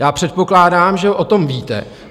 Já předpokládám, že o tom víte.